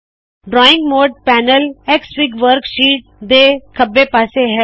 drawing mode panel Xfig worksheet ਦੇ ਖੱਬੇ ਪਾਮੇ ਹੈ